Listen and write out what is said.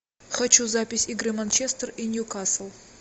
хочу запись игры манчестер и ньюкасл